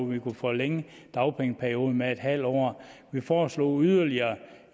man kunne forlænge dagpengeperioden med en halv år vi foreslog yderligere